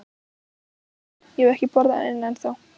Óttar Sveinsson: Ég hef ekki borðað eina ennþá?